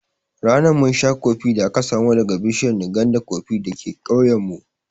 Ranan mun sha kofee da aka samo daga bishiyar nganda koffee dake ƙauyen mu